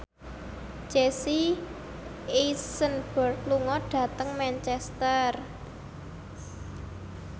Jesse Eisenberg lunga dhateng Manchester